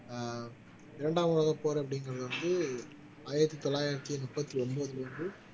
அஹ் இரண்டாம் உலகப்போர் அப்படிங்கிறது வந்து ஆயிரத்தி தொள்ளாயிரத்தி முப்பத்தி ஒன்பதுல இருந்து